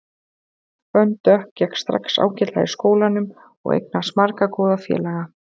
Fönn Dögg gekk strax ágætlega í skólanum og eignaðist marga góða félaga.